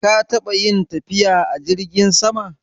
Ka taɓa yin tafiya a jirgin sama.